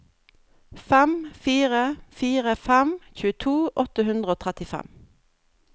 fem fire fire fem tjueto åtte hundre og trettifem